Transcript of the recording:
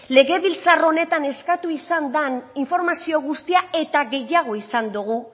legebiltzar honetan eskatu izan den informazio guztia eta gehiago izan dugu